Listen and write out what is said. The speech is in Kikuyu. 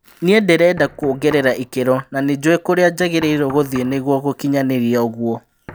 Nĩ ndĩrenda kuongerera ikĩro na nĩ njũĩ kũrĩa njagĩrĩirwo gũthiĩ nĩguo gũkinyanĩrithia ũguo."